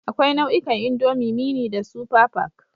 Akwai nau'ikan indomie, mini da super pack